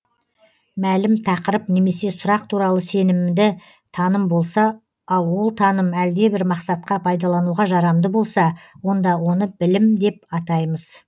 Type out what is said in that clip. мәлім тақырып немесе сұрақ туралы сенімді таным болса ал ол таным әлдебір мақсатқа пайдалануға жарамды болса онда оны білім деп атаймыз